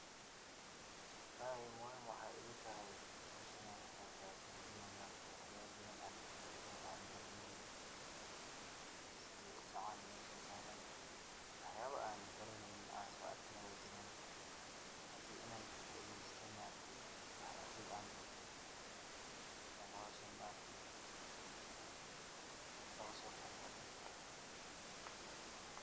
Walahi muxiim waxay igutaxay, xowshaan inan kagebgato wa ina maarakte waxyalo badan an kafaido an garaneynin, sidhi sacahan meshan saran, wax yabo anan garaneynin an soarkin way jiran, hadhii inan kafaideysto maarakte an agoon an barto, ayan xowshaan maarakte ogusogebgatey.